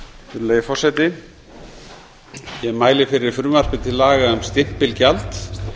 virðulegi forseti ég mæli fyrir frumvarpi til laga um stimpilgjald